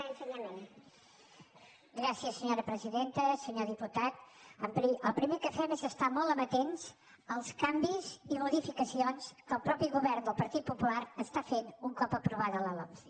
senyor diputat el primer que fem és estar molt amatents als canvis i modificacions que el mateix govern del partit popular està fent un cop aprovada la lomce